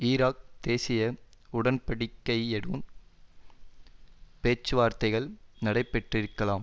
Iraq தேசிய உடன்படிக்கையுடன் பேச்சுவார்த்தைகள் நடைபெற்றிருக்கலாம்